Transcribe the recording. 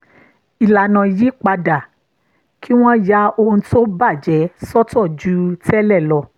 ìlànà yí padà kí wọ́n ya ohun tó bà jẹ́ sọ́tọ̀ ju tẹ́lẹ̀ lọ